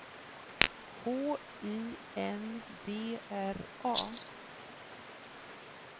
H I N D R A